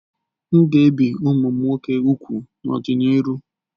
M'gēbì kwa umum nwoke úgwù n'ọdi-n'iru.